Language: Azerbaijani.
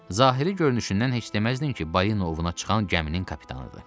Zahiri görünüşündən heç deməzdin ki, balina ovuna çıxan gəminin kapitanıdır.